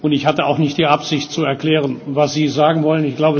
Ich hatte auch nicht die Absicht, zu erklären, was Sie sagen wollen.